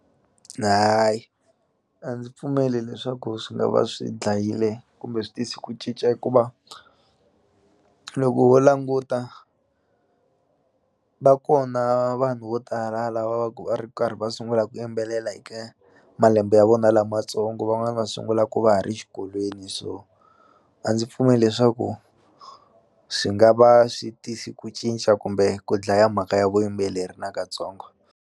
Hayi a ndzi pfumeli leswaku swi nga va swi dlayile kumbe swi tise ku cinca hikuva loko ho languta va kona vanhu vo tala lava va ku va ri karhi va sungula ku yimbelela hi ka malembe ya vona lamatsongo van'wani va sungulaku va ha ri xikolweni so a ndzi pfumeli leswaku swi nga va swi tisi ku cinca kumbe ku dlaya mhaka ya vuyimbeleri nakatsongo.